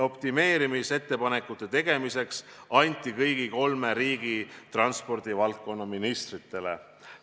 Optimeerimisettepanekute tegemise ülesanne anti kõigi kolme riigi transpordivaldkonna ministritele.